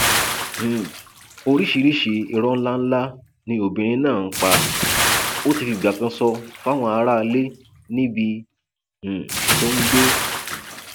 um oríṣiríṣii ìró ńláńlá ni obìnrin náà ń pa ó ti fìgbà kan sọ fáwọn aráalé níbi um tó ń gbé